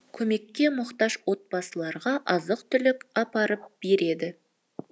көмекке мұқтаж отбасыларға азық түлік апарып береді